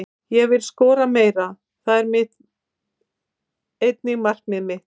Ég vil skora meira, það er einnig markmiðið mitt.